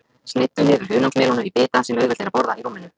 Sneiddu niður hunangsmelónu í bita sem auðvelt er að borða í rúminu.